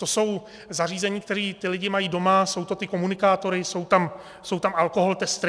To jsou zařízení, která ti lidé mají doma, jsou to ty komunikátory, jsou tam alkoholtestery.